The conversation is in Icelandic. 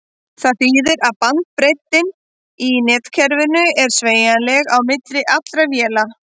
Það þýðir að bandbreiddin í netkerfinu er sameiginleg á milli allra véla.